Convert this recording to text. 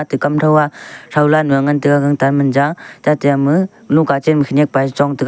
te kam thou a throula nua ngan tega gangtan manja tate ama lohka chenma khenyek pa a chong taiga.